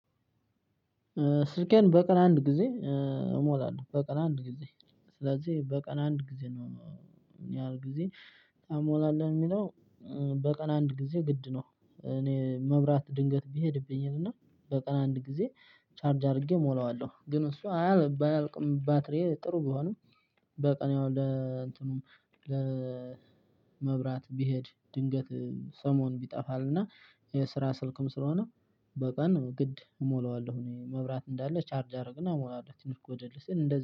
ስልኬን በቀን አንድ ጊዜ እሞራለሁ። በቀን አንድ ጊዜ ስለዚህ በቀን አንድ ጊዜ ነው ምን ያህል ጊዜ ታሞላለህ ለሚለው በቀን አንድ ጊዜ ግድ ነው እኔ መብራት ድንገት ቢሄድብኝም እና በቀን አንድ ጊዜ ቻርጅ አድርጌ እሞላዋለሁ ግን እሷ ባያልቅም ባትሪዬ ጥሩ ቢሆንም በቀን ያው ለመብራት ብሄድ ድንገት ሰሞን ይጠፋል እና የስራ ስልክም ስለሆነ በቀን ግድ እሞላዋለሁ እኔ መብራት እንዳለ ቻርጅ አደርግና እሞላለሁ ትንሽ ጎደል ስል እንደዚህ